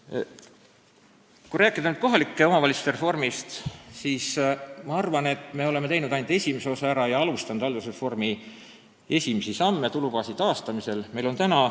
Kui nüüd rääkida riigireformi ühest osast, kohalike omavalitsuste reformist, siis ma arvan, et me oleme teinud ära ainult selle esimese osa ja alustanud haldusreformi esimesi sisulisi samme, sh tulubaasi taastamisel.